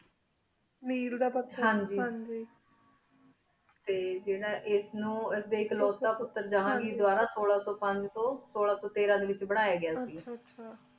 ਮੀਰ ਦਾ ਪਥਰ ਟੀ ਜੀਰਾ ਇਸ ਨੂ ਅਕ੍ਲੁਤਾ ਪੁਟਰ ਜ਼ਹਨ ਘੇਰ ਸੋਲਾਂ ਸੋ ਪੰਜ ਤੂੰ ਸੋਲਾਂ ਸੋ ਤੀਰਾਂ ਡੀ ਵੇਚ ਬਨਯ ਗਯਾ ਸੇ ਗਾ